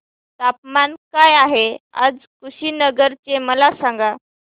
तापमान काय आहे आज कुशीनगर चे मला सांगा